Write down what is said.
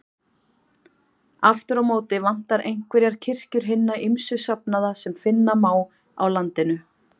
Aftur á móti vantar einhverjar kirkjur hinna ýmsu safnaða sem finna má á landinu.